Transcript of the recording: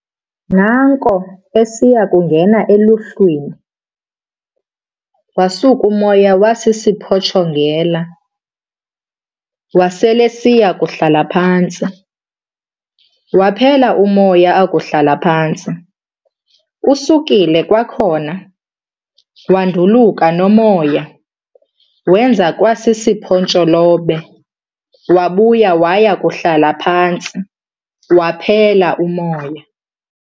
Naanko esiya kungena eluhlwini, wasuk'umoya wasisiphotshongela, wasel'esiya kuhlala phantsi, waphela umoya akuhlala phantsi. Usukile kwakhona, wanduluka nomoya, wenza kwa siphontsholobe, wabuya waya kuhlala phantsi, waphela umoya.